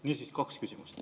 Niisiis, kaks küsimust.